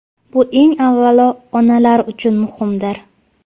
Bu eng avvalo onalar uchun muhimdir.